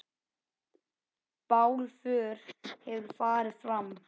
Bálför hefur farið fram.